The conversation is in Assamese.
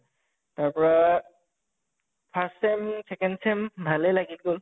তাৰ পৰা first sem second sem ভালে লাগি গʼল